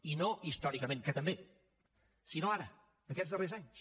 i no històricament que també sinó ara aquests darrers anys